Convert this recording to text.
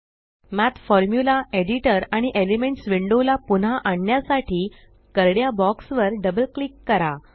मठ formula editor आणि elements window ला पुन्हा आणण्यासाठी करड्या बॉक्स वर डबल क्लिक करा